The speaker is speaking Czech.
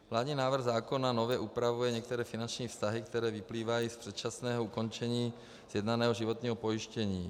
Vládní návrh zákona nově upravuje některé finanční vztahy, který vyplývají z předčasného ukončení sjednaného životního pojištění.